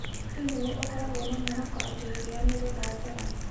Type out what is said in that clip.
Hihi nĩ ũkoragwo na mwĩhoko atĩ iria nĩ rĩgathera?